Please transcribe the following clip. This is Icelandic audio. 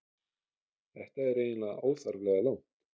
Þetta er eiginlega óþarflega langt.